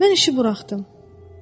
Mən işi buraxdım.